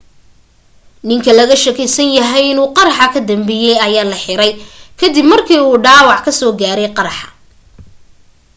ninka laga shakisanahay inuu qaraxa ka dambeeyey ayaa la xiray ka dib markuu dhaabac kasoo gaaray qaraxa